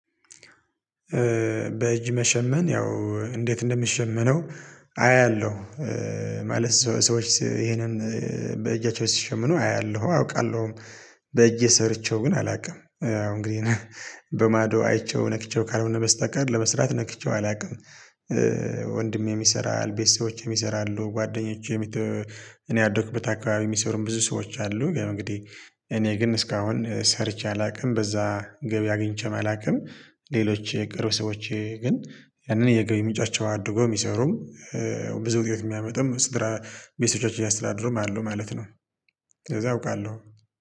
በእጅ መሸመን ያው እንዴት እንደምሸምነው አያለሁ ማለት ሰዎች ይሄንን በእጃቸው ሲሸምኑ አያለሁ አውቃለሁም በእጄ ሰርቼው ግን አላውቅም። እንግዲህ በማዶ አይቼው ነክቼው ካልሆነ በስተቀር ለመስራት ነክቼው አላውቅም። ወንድሜም ይሰራል ቤተሰቦቼም ይሰራሉ ጓደኞቼም እኔ ያደኩበት አካባቢ የሚሰሩም ብዙ ሰዎች አሉ እንግዲህ እኔ ግን እስካሁን ሰርቼ አላውቅም በዛ ገቢ አግኝቼም አላውቅም። ሌሎች የቅርብ ሰዎች ግን ያንን የገቢ ምንጫቸው አድርገው የሚሰሩም ብዙ ውጤት የሚያመጡም ስራ ቤት ልጆች እያስተዳደሩም አሉ ማለት ነው። ከዛ አውቃለሁ